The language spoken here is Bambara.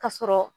Ka sɔrɔ